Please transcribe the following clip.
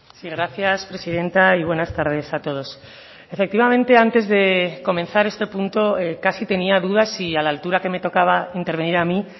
sí gracias presidenta y buenas tardes a todos efectivamente antes de comenzar este punto casi tenía dudas si a la altura que me tocaba intervenir a mi